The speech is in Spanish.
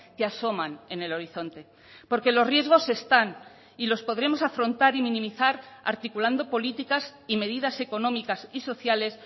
que asoman en el horizonte porque los riesgos están y los podremos afrontar y minimizar articulando políticas y medidas económicas y sociales